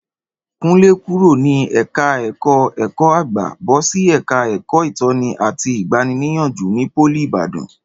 Kúnlé kúrò ní ẹ̀ka ẹ̀kọ́ ẹ̀kọ́-àgbà bọ́sí ẹ̀ka ẹ̀kọ́ ìtọ́ni àti ìgbani-níyànjú ní pólì Ìbàdàn